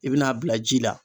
I bin'a bila ji la